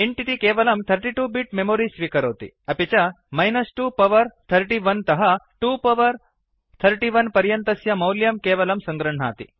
int इति केवलं 32 bits memory स्वीकरोति अपि च 2 पावर 31 तः 2 पावर 31 पर्यन्तस्य मौल्यं केवलं सङ्गृह्णाति